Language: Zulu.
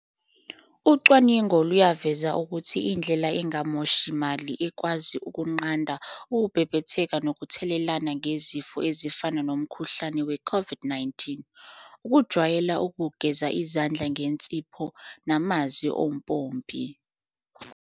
Ucwaningo luyaveza ukuthi indlela engamoshi mali ekwazi ukunqanda ukubhebhetheka nokuthelelana ngezifo ezifana nomkhuhlane we COVID-19, ukujwayela ukugeza izandla ngensipho namanzi ompompi.